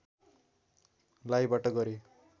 लाइबाट गरे